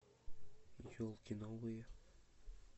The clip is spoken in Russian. елки новые